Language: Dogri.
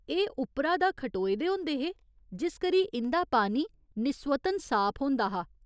एह् उप्परा दा खटोए दे होंदे हे जिस करी इं'दा पानी निस्वतन साफ होंदा हा।